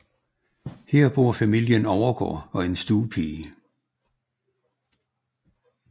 Her bor familie Overgaard og en stuepige